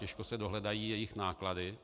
Těžko se dohledají jejich náklady.